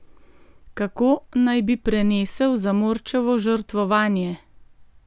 Kako naj bi prenesel zamorčevo žrtvovanje?